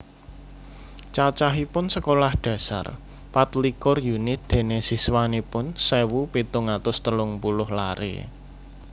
Cacahipun Sekolah Dasar patlikur unit dene siswanipun sewu pitung atus telung puluh lare